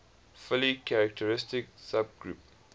fully characteristic subgroup